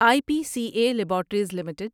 I P C A laboratories limited